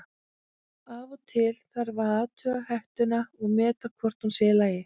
Af og til þarf að athuga hettuna og meta hvort hún sé í lagi.